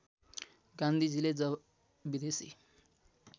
गान्धीजीले जब विदेशी